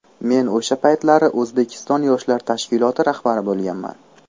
Men o‘sha paytlari O‘zbekiston yoshlar tashkiloti rahbari bo‘lganman.